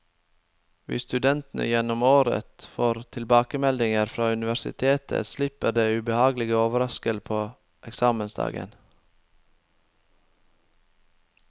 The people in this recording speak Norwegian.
Hvis studentene gjennom året får tilbakemeldinger fra universitetet, slipper de ubehagelige overrasker på eksamensdagen.